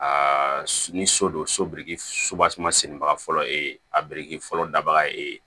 Aa ni so don so biriki sennibaga fɔlɔ ye e ye a biriki fɔlɔ daga ee